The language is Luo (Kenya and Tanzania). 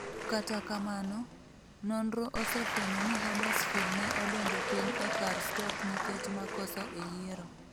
Kata kamano, nonro osefwenyo ni Huddersfield ne odonjo piny e kar Stoke nikech 'makosa' e yiero.